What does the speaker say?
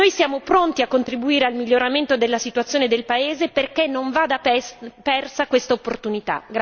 Siamo pronti a contribuire al miglioramento della situazione del paese perché non vada persa questa opportunità.